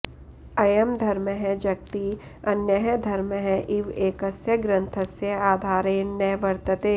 अयं धर्मः जगति अन्यः धर्मः इव एकस्य ग्रन्थस्य आधारेण न वर्तते